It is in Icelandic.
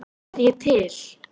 Er ég til?